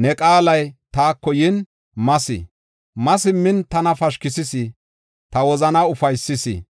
ne qaalay taako yin mas. Ma simmin tana pashkisis; ta wozanaa ufaysis.